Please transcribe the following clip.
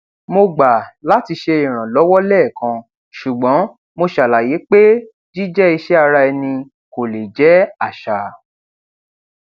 mo ti ṣe àwọ ilẹ ayé kò sí nǹkan kan ò mọ ti di arọgọdígbà kò sí nǹkan kan o